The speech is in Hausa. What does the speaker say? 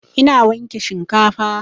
Ina wanke shinkafan